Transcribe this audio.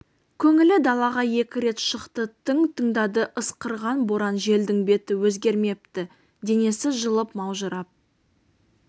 көңілі далаға екі рет шықты тың тыңдады ысқырған боран желдің беті өзгермепті денесі жылып маужырап